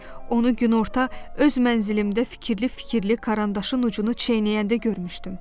Onu günorta öz mənzilimdə fikirli-fikirli karandaşın ucunu çeynəyəndə görmüşdüm.